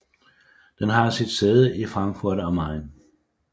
Den har sit sæde i Frankfurt am Main